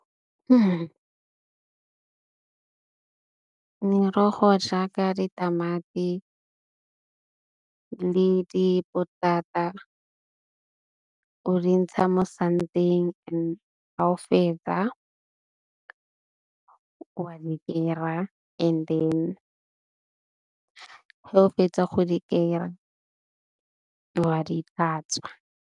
Merogo jaaka ditamati le dipotata o di ntsha mo santeng ha o fetsa wa di 'ira and then ha o fetsa go di' 'ira wa di hlatswa.